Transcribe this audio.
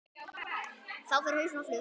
Þá fer hausinn á flug.